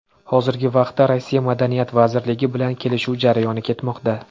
Hozirgi vaqtda Rossiya Madaniyat vazirligi bilan kelishuv jarayoni ketmoqda.